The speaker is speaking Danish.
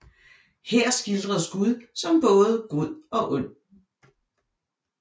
Her skildres Gud som både god og ond